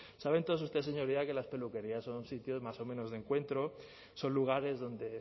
saben todos ustedes señorías que las peluquerías son sitios más o menos de encuentro son lugares donde